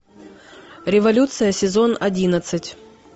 революция сезон одиннадцать